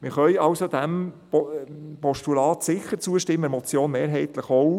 Wir können also dem Postulat sicher zustimmen, der Motion mehrheitlich auch.